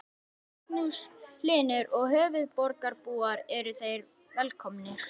Magnús Hlynur: Og höfuðborgarbúar eru þeir velkomnir?